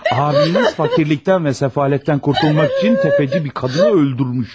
Abiniz fakirlikten və səfalətdən qurtulmaq üçün tefeci bir kadını öldürmüş.